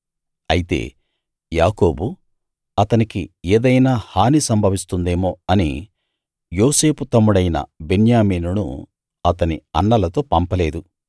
అయితే యాకోబు అతనికి ఏదైనా హాని సంభవిస్తుందేమో అని యోసేపు తమ్ముడైన బెన్యామీనును అతని అన్నలతో పంపలేదు